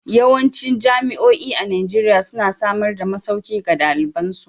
Yawancin jami'o'i a Najeriya suna samar da masauki ga dalibai.